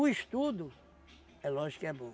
estudo, é lógico que é bom.